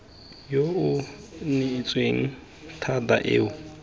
yo o neetsweng thata eo